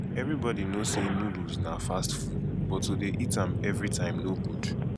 everybody knowsay noodles na fast food but to dey eat am every time no good